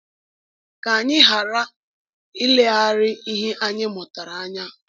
Ka anyị ghara ileghara ihe anyị mụtara anya!